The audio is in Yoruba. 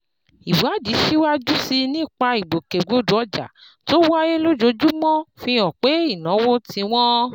Ìwádìí síwájú sí i nípa ìgbòkègbodò ọjà tó wáyé lójoojúmọ́ fi hàn pé ìnáwó tí wọ́n